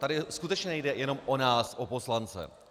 Tady skutečně nejde jen o nás, o poslance.